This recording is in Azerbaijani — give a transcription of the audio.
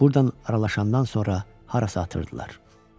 Buradan aralaşandan sonra harasa atırdılar.